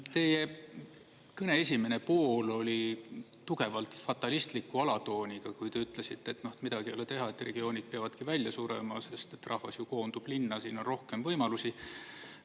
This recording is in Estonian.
Teie kõne esimene pool oli tugevalt fatalistliku alatooniga, kui te ütlesite, et midagi ei ole teha, et regioonid peavadki välja surema, sest et rahvas koondub linna, siin on rohkem võimalusi.